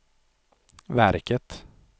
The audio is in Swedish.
verket